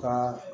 Ka